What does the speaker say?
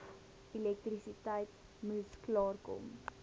elektrisiteit moes klaarkom